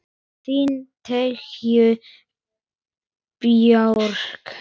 Þín, Tanja Björk.